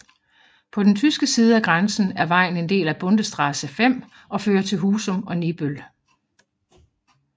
På den tyske side af grænsen er vejen en del af Bundesstraße 5 og fører til Husum og Nibøl